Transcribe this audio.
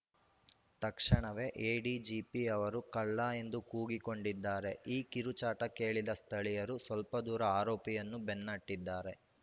ತಕ್ಷಣವೇ ಎಡಿಜಿಪಿ ಅವರು ಕಳ್ಳ ಎಂದೂ ಕೂಗಿಕೊಂಡಿದ್ದಾರೆ ಈ ಕಿರುಚಾಟ ಕೇಳಿದ ಸ್ಥಳೀಯರು ಸ್ಪಲ್ಪದೂರ ಆರೋಪಿಯನ್ನು ಬೆನ್ನಹಟ್ಟಿದ್ದಾರೆ